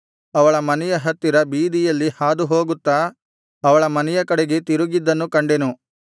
ಅವಳ ಮನೆಯ ಹತ್ತಿರ ಬೀದಿಯಲ್ಲಿ ಹಾದುಹೋಗುತ್ತಾ ಅವಳ ಮನೆಯ ಕಡೆಗೆ ತಿರುಗಿದ್ದನ್ನು ಕಂಡೆನು